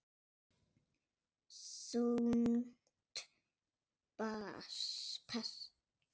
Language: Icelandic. Þungt pass.